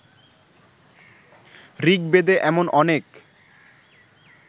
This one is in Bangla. ঋগ্বেদে এমন অনেক